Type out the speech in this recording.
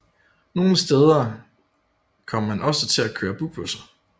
Nogle steder kom man også til at køre bybusser